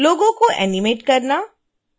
लोगो को एनीमेट करना